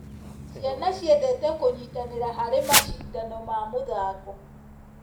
Ciana ciendete kũnyitanĩra harĩ macindano ma mũthako.